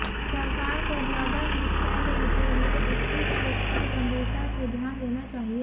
सरकार को ज्यादा मुस्तैद रहते हुए इसकी चूक पर गंभीरता से ध्यान देना चाहिए